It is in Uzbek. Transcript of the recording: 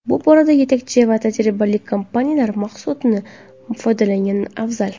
Bu borada yetakchi va tajribali kompaniyalar mahsulotidan foydalangan afzal.